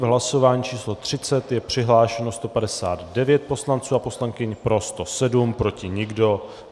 V hlasování číslo 30 je přihlášeno 159 poslanců a poslankyň, pro 107, proti nikdo.